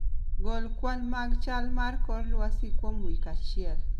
Gol kwan mag chal mar kor lwasi kuom wik achiel